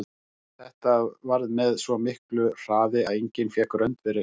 Þetta varð með svo miklu hraði að enginn fékk rönd við reist.